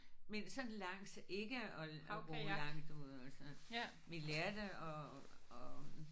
Men sådan langs ikke at at ro langt ude og sådan. Vi lærte at at